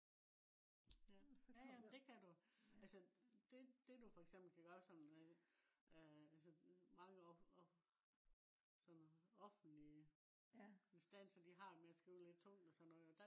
ja ja det kan du. altså det det du for eksempel kan gøre som øh altså øh sådan noget offentlige instanser de har med at skrive lidt tungt og sådan noget